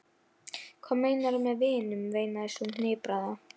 Hvað meinarðu með vinur? veinaði sú hnipraða.